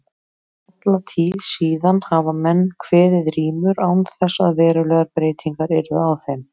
Alla tíð síðan hafa menn kveðið rímur án þess að verulegar breytingar yrðu á þeim.